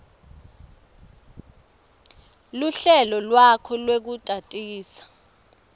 luhlelo lwakho lwekutatisa